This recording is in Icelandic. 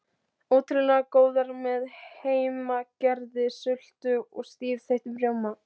Ótrúlega góðar með heimagerðri sultu og stífþeyttum rjóma.